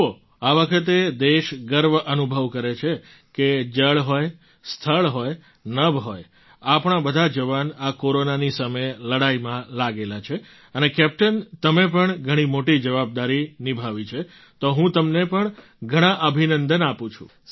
જુઓ આ વખતે દેશ ગર્વ અનુભવ કરે છે કે જળ હોય સ્થળ હોય નભ હોય આપણા બધા જવાન આ કોરોનાની સામે લડાઈમાં લાગેલા છે અને કેપ્ટન તમે પણ ઘણી મોટી જવાબદારી નિભાવી છે તો હું તમને પણ ઘણા અભિનંદન આપું છું